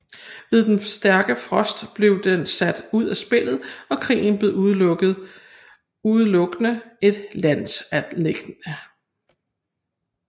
Ved den stærke frost blev den sat ud af spillet og krigen blev udelukkende et landanliggende